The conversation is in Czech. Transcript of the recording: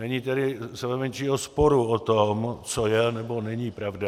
Není tedy sebemenšího sporu o tom, co je nebo není pravda.